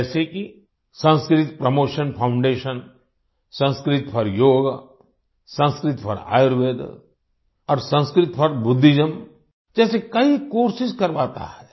जैसे कि Sanskrit promotion foundation Sanskrit for yoga Sanskrit for Ayurveda और संस्कृत फोर बुद्धिज्म जैसे कई कोर्सेस करवाता है